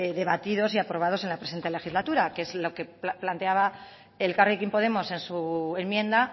debatidos y aprobados en la presente legislatura que es lo que planteaba elkarrekin podemos en su enmienda